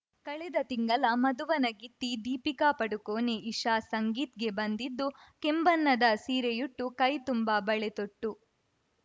ಕಳೆದ ತಿಂಗಳ ಮದುವಣಗಿತ್ತಿ ದೀಪಿಕಾ ಪಡುಕೋಣೆ ಇಷಾ ಸಂಗೀತ್‌ಗೆ ಬಂದಿದ್ದು ಕೆಂಬಣ್ಣದ ಸೀರೆಯುಟ್ಟು ಕೈ ತುಂಬ ಬಳೆ ತೊಟ್ಟು